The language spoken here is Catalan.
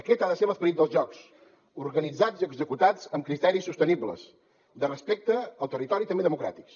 aquest ha de ser l’esperit dels jocs organitzats i executats amb criteris sostenibles de respecte al territori i també democràtics